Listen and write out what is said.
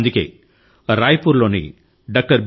అందుకే రాయ్పూర్ లోని doctor B